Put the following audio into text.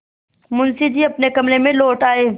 मुंशी जी अपने कमरे में लौट आये